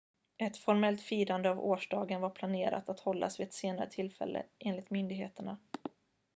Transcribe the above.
ett formellt firande av årsdagen var planerat att hållas vid ett senare tillfälle enligt myndigheterna